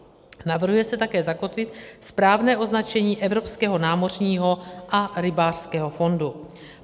Navrhuje se také zakotvit správné označení Evropského námořního a rybářského fondu.